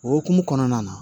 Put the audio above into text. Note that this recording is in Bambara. O hukumu kɔnɔna na